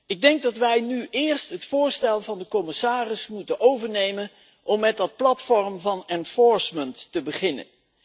Ik denk dat wij nu eerst het voorstel van de commissaris moeten overnemen om met dat platform van handhaving te beginnen.